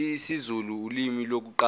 isizulu ulimi lokuqala